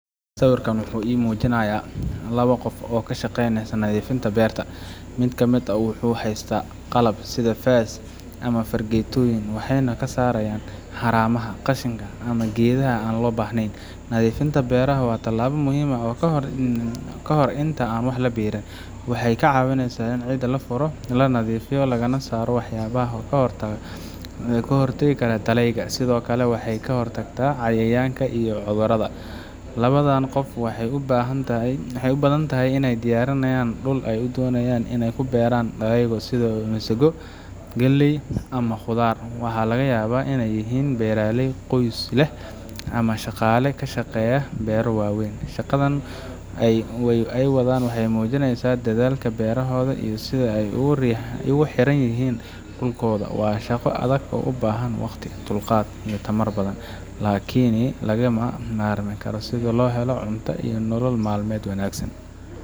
Sawirkaan wuxuu muujinayaa labo qof oo ka shaqeynaya nadiifinta beer. Mid walba wuxuu haystaa qalab, sida faasas ama fargeetooyin, waxayna ka saarayaan haramaha, qashinka ama geedaha aan loo baahnayn. Nadiifinta beeraha waa tallaabo muhiim ah ka hor inta aan wax la beerin. Waxay ka caawisaa in ciidda la furo, la nadiifiyo, lagana saaro waxyaabaha hor istaagi kara koritaanka dalagyada. Sidoo kale, waxay ka hortagtaa cayayaanka iyo cudurrada. Labadaan qof waxay u badan tahay in ay diyaarinayaan dhul ay doonayaan in ay ku beeraan dalagyo sida masago, galley ama khudaar. Waxaa laga yaabaa in ay yihiin beeraley qoys leh ama shaqaale ka shaqeeya beero waaweyn. Shaqadan ay wadaan waxay muujineysaa dadaalka beeraleyda iyo sida ay ugu xiran yihiin dhulkooda. Waa shaqo adag oo u baahan waqti, dulqaad iyo tamar badan, laakiin waa lagama maarmaan si loo helo cunto iyo nolol maalmeed wanaagsan.